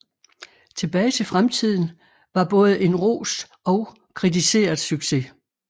Tilbage til fremtiden var både en rost og kritiseret succes